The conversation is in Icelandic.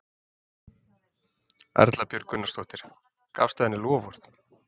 Erla Björg Gunnarsdóttir: Gafstu henni loforð?